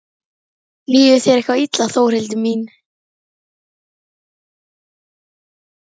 Líður þér eitthvað illa Þórhildur mín?